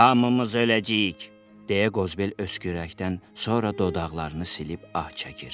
Hamımız öləcəyik, deyə Qozbel öskürəkdən sonra dodaqlarını silib ah çəkir.